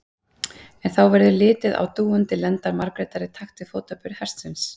En verður þá litið á dúandi lendar Margrétar í takt við fótaburð hestsins.